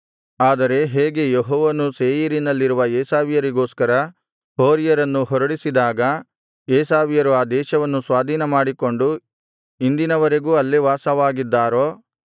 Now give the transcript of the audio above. ಆದರೆ ಹೇಗೆ ಯೆಹೋವನು ಸೇಯೀರಿನಲ್ಲಿರುವ ಏಸಾವ್ಯರಿಗೋಸ್ಕರ ಹೋರಿಯರನ್ನು ಹೊರಡಿಸಿದಾಗ ಏಸಾವ್ಯರು ಆ ದೇಶವನ್ನು ಸ್ವಾಧೀನಮಾಡಿಕೊಂಡು ಇಂದಿನವರೆಗೂ ಅಲ್ಲೇ ವಾಸವಾಗಿದ್ದಾರೋ